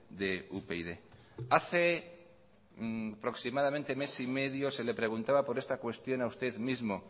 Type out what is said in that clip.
de upyd hace aproximadamente mes y medio se le preguntaba por esta cuestión a usted mismo